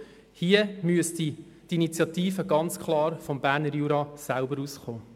Hier müsste die Initiative ganz klar vom Berner Jura selbst kommen.